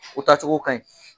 U taa cogo kaɲi.